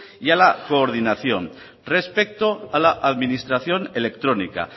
y a la coordinación respecto a la administración electrónica